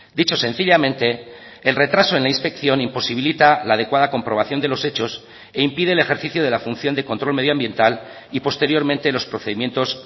dicho sencillamente el retraso en la inspección imposibilita la adecuada comprobación de los hechos e impide el ejercicio de la función de control medio ambiental y posteriormente los procedimientos